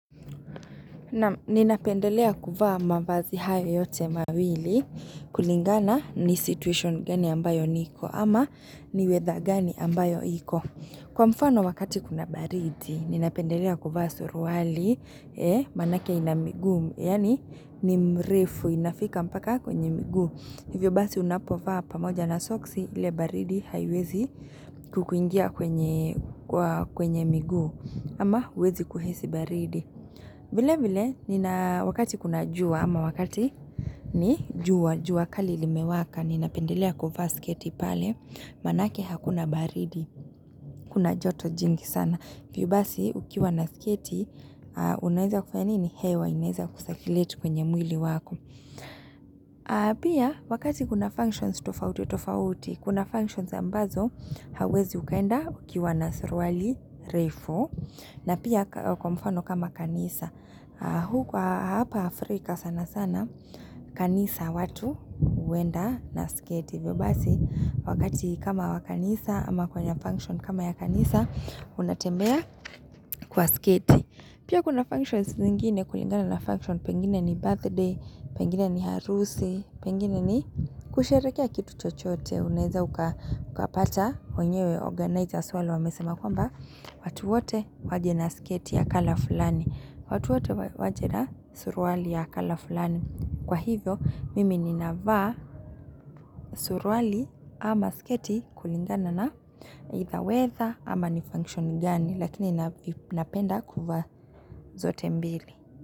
Naam ninapendelea kuvaa mavazi hayo yote mawili kulingana ni situation gani ambayo niko ama ni weather gani ambayo iko. Kwa mfano wakati kuna baridi ninapendelea kuvsa suruali maanake ina miguu yaani ni mrefu inafika mpaka kwenye miguu. Hivyo basi unapovaa pamoja na soksi ile baridi haiwezi kukuingia kwenye miguu ama huwezi kuhisi baridi. Vile vile, wakati kuna jua ama wakati ni jua, jua kali limewaka, ninapendelea kuvaa sketi pale, maanake hakuna baridi, kuna joto jingi sana. Hivyo basi, ukiwa na sketi, unaeza kufa nini? Hewa, inaeza kusakiuleti kwenye mwili wako. Pia, wakati kuna functions tofauti, tofauti, kuna functions ambazo, hauwezi ukaenda ukiwa na suruali, refu. Na pia kwa mfano kama kanisa Huku hapa Afrika sana sana kanisa watu huenda na sketi hivyo basi wakati kama wa kanisa ama kwenye function kama ya kanisa unatembea kwa sketi Pia kuna functions zingine kulingana na function Pengine ni birthday, pengine ni harusi Pengine ni kusherekea kitu chochote Unaeza ukapata kwenyewe organizers wale wamesema kwamba watu wote waje na sketi ya kala fulani watu wote waje na suruali ya kala fulani Kwa hivyo mimi ninavaa suruali ama sketi kulingana na Either weather ama ni function gani Lakini napenda kuvaa zote mbili.